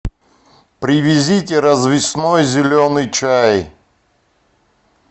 привезите развесной зеленый чай